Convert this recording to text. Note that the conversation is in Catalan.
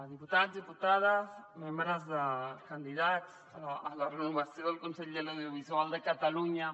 diputats diputades candidats a la renovació del consell de l’audiovisual de catalunya